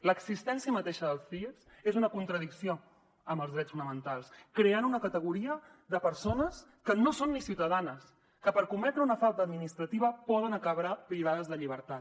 l’existència mateixa dels cies és una contradicció amb els drets fonamentals creen una categoria de persones que no són ni ciutadanes que per cometre una falta administrativa poden acabar privades de llibertat